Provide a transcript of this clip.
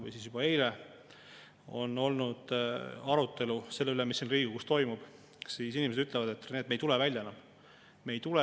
Tahaksid lihtsalt stabiilset, rahulikku elu, et ei peaks kogu aeg muretsema ja mõtlema selle peale, mismoodi või kustkohast seadusemuudatuse või maksumuudatusega jälle mingi pauk tuleb, ja nii edasi ja nii edasi.